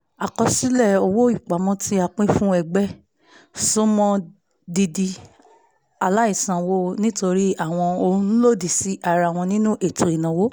àkọsílẹ̀ owó ìpamọ́ tí a pín fún ẹgbẹ́ ẹgbẹ́ sún mọ́ dídi aláìsanwó nítorí àwọn ohun lòdì sí ara wọn nínú ètò ìnáwó